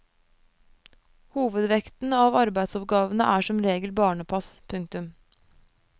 Hovedvekten av arbeidsoppgavene er som regel barnepass. punktum